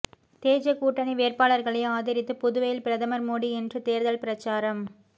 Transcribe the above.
தேஜ கூட்டணி வேட்பாளர்களை ஆதரித்து புதுவையில் பிரதமர் மோடி இன்று தேர்தல் பிரசாரம்